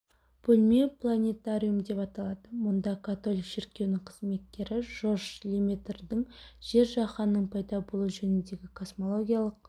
бөлме планетариум деп аталады мұнда католик шіркеуінің қызметкері жорж леметрдің жер жаһанның пайда болуы жөніндегі космологиялық